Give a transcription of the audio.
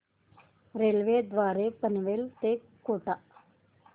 railway द्वारे पनवेल ते कोटा